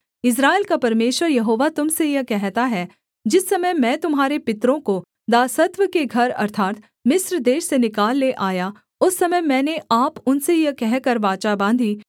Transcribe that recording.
इस्राएल का परमेश्वर यहोवा तुम से यह कहता है जिस समय मैं तुम्हारे पितरों को दासत्व के घर अर्थात् मिस्र देश से निकाल ले आया उस समय मैंने आप उनसे यह कहकर वाचा बाँधी